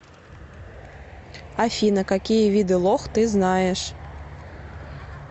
афина какие виды лох ты знаешь